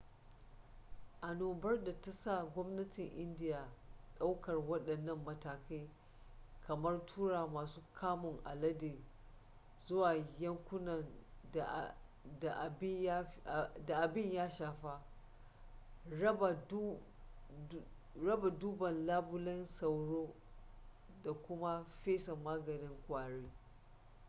annobar ta sa gwamnatin indiya daukar waɗannan matakai kamar tura masu kamun alade zuwa yankunan da abin ya fi shafa raba dubban labulen sauro da kum fesa maganin ƙwari